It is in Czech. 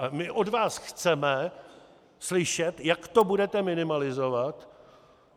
A my od vás chceme slyšet, jak to budete minimalizovat.